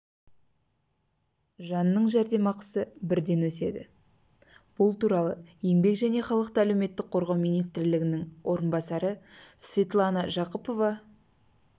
жанның жәрдемақысы бірден өседі бұл туралы еңбек және халықты әлеуметтік қорғау министрінің орынбасары светлана жақыпова